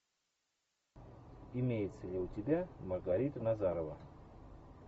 имеется ли у тебя маргарита назарова